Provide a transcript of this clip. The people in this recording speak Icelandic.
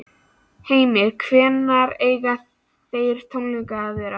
Heimir: Hvenær eiga þeir tónleikar að vera?